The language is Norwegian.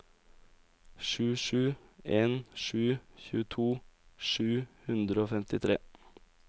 sju sju en sju tjueto sju hundre og femtitre